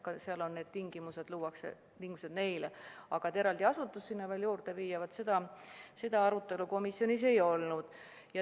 Aga et eraldi mõni asutus sinna veel juurde viia, seda arutelu komisjonis ei olnud.